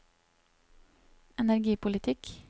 energipolitikk